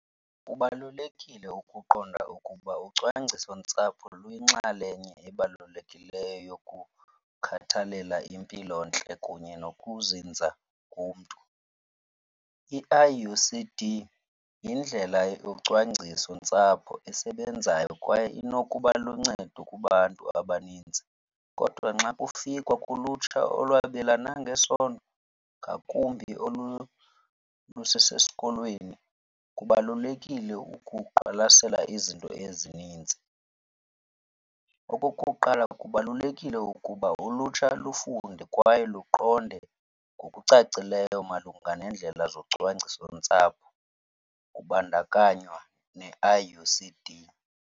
Kubalulekile ukuqonda ukuba ucwangcisontsapho luyinxalenye ebalulekileyo yokukhathalela impilontle kunye nokuzinza komntu. I-I_U_C_D yindlela yocwangcisontsapho esebenzayo kwaye inokuba luncedo kubantu abaninzi. Kodwa nxa kufikwa kulutsha olwabelana ngesondo, ngakumbi olu lusesesikolweni, kubalulekile ukuqwalasela izinto ezininzi. Okokuqala, kubalulekile ukuba ulutsha lufunde kwaye luqonde ngokucacileyo malunga neendlela zocwangcisontsapho kubandakanywa ne-I_U_C_D.